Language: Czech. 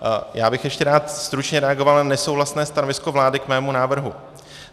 Já bych ještě rád stručně reagoval na nesouhlasné stanovisko vlády k mému návrhu.